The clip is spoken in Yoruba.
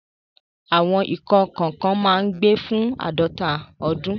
Àwọn ikán kọ̀ọ̀kan máa ń gbé fún àádọ́ta ọdún.